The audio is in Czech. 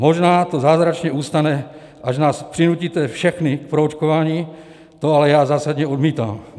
Možná to zázračně ustane, až nás přinutíte všechny k proočkování, to ale já zásadně odmítám.